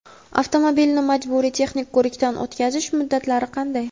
Avtomobilni majburiy texnik ko‘rikdan o‘tkazish muddatlari qanday?.